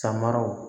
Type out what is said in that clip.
Samaraw